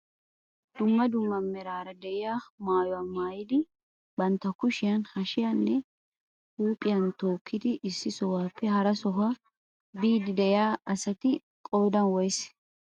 Dumma dumma meraara diyaa maayuwaa maayidi bantta kushiyaan, hashiyaan inne huuphphiyaan tookkidi issi sohuwaape hara sohuwaa biidi de'iyaa asati qoodan woysee?